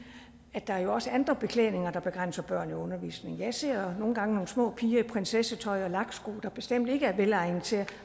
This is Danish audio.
at der jo også er andre beklædninger der begrænser børn i undervisningen jeg ser nogle gange nogle små piger i prinsessetøj og laksko der bestemt ikke er velegnet til